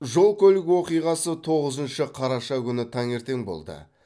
жол көлік оқиғасы тоғызыншы қараша күні таңертең болды